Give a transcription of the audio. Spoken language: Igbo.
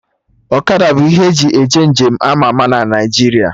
Ọkada bụ ihe eji eje nje m ama ama na Naijiria